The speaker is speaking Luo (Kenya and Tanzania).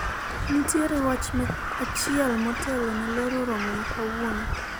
nitiere wach achiel motelo ne loro romo ma kawuono